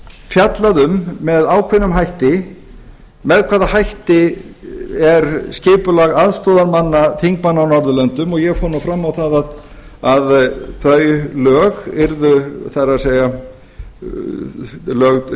fjallað um með ákveðnum hætti með hvaða hætti er skipulag aðstoðarmanna þingmanna á norðurlöndum og ég fór nú fram á að þau lög yrðu það er lög